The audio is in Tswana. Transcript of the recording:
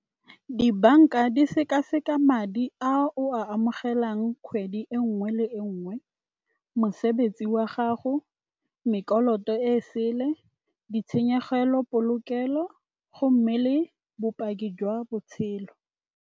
Dibanka di sekaseka madi a o a amogelang kgwedi e nngwe le e nngwe, mosebetsi wa gago, e sele, ditshenyegelo polokelo gomme le bopaki jwa botshelo.